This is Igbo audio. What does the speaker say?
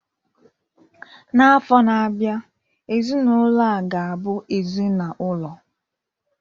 N'afọ na-abịa, ezinụlọ a ga-abụ ezinaụlọ